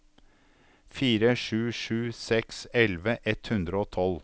fire sju sju seks elleve ett hundre og tolv